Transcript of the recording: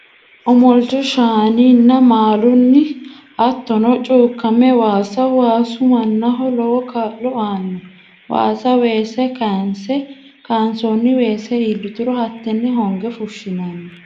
Omolicho shaanininna maalunni hattono cuukame waasa, waasu manaho lowo kaalo aanno, waasa weese kaa'nse kaansonni weese iillituro hatene honge fushinanni